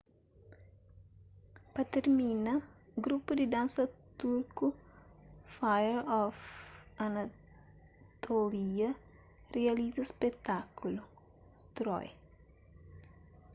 pa tirmina grupu di dansa turku fire of anatolia rializa spekutákulu troy